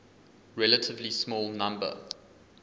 relatively small number